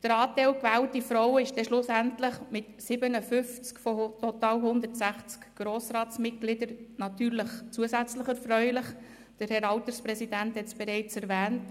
Der Anteil gewählter Frauen ist schlussendlich mit 57 von 160 Grossratsmitgliedern natürlich zusätzlich erfreulich, der Herr Alterspräsident hat es bereits erwähnt.